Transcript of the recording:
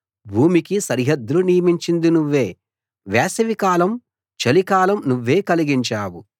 భూమికి సరిహద్దులు నియమించింది నువ్వే వేసవికాలం చలికాలం నువ్వే కలిగించావు